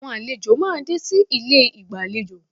Àwọn àlejò máa dé sí ilé ìgbàlejò